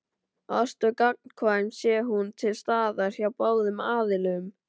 Ást er gagnkvæm sé hún til staðar hjá báðum aðilum.